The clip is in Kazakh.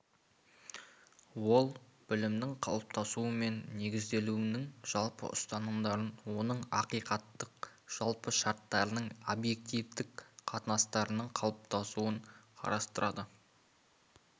ол білімнің қалыптасуы мен негізделуінің жалпы ұстанымдарын оның ақиқаттық жалпы шарттарының объективтік қатынастарының қалыптасуын қарастырады